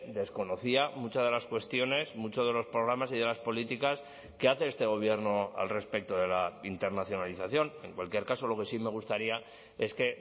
desconocía muchas de las cuestiones muchos de los programas y de las políticas que hace este gobierno al respecto de la internacionalización en cualquier caso lo que sí me gustaría es que